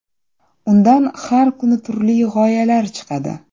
Undan har kuni turli g‘oyalar chiqadi.